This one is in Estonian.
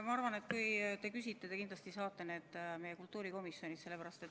Ma arvan, et kui te küsite, te kindlasti saate need meie kultuurikomisjonist.